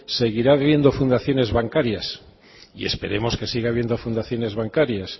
seguirán habiendo fundaciones bancarias y esperaremos que siga habiendo fundaciones bancarias